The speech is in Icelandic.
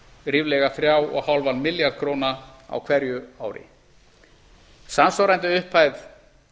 ríflega þrjú og hálfan milljarð króna á hverju ári samsvarandi upphæð